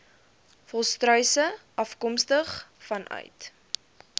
volstruise afkomstig vanuit